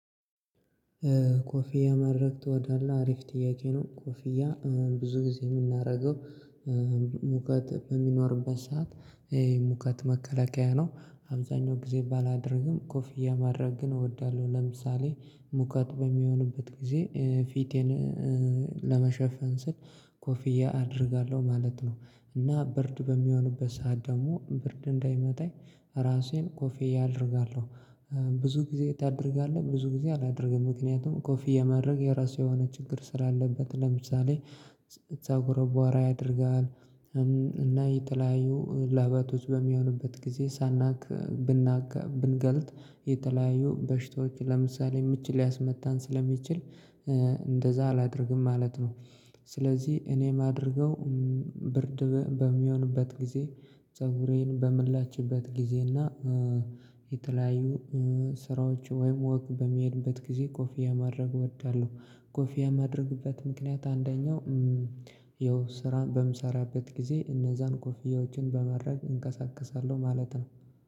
ኮፊያ መድረግ ትወዳለህ አሪፍ ጥያቄ ነው? ኮፊያ ብዙ ጊዜ የምናደርገው ሙቀት በሚኖርበት ሰዓት ይሄ ሙቀት መከላከያ ነው። አብዛኛው ጊዜ ባላደርግም ኮፍያ ማድረግ ግን እወዳለሁ። ለምሳሌ ሙቀት በሚሆንበት ጊዜ ፊቴን ለመሸፈን ስል ኮፊያ አደርጋለሁ ማለት ነው። እና ብርድ በሚሆንበት ሰዓት ደግሞ ብርድ እንዳይመታይ ራሴን ኮፊያ አደርጋለሁ። ብዙ ጊዜ ታደርጋለህ ብዙ ጊዜ አላደርግም ምክንያቱም ኮፊያ ማድረግ የራሱ የሆነ ችግር ስላለበት ለምሳሌ ፀጉር ቦራ ያደርጋል እና የተለያዩ ላበቶች በሚሆንበት ጊዜ ሳናክ ብንገልት የተለያዩ በሽታዎች ለምሳሌ ምች ሊያስመታን ስለሚችል እንደዛ አላደርግም ማለት ነው። ስለዚህ እኔ ማደርገው ብርድ በሚሆንበት ጊዜ ፀጉሬን በምንላችበት ጊዜና የተለያዩ ስራዎች ወይም ወክ በመሄድበት ጊዜ ኮፊ ማድረግ እወዳለሁ። ኮፊያ ማድርግበት ምክንያት አንደኛው ያው ስራን በምሰራበት ጊዜ እነዛን ኮፍያዎችን በማድረግ እንቀሳቀሳለሁ ማለት ነው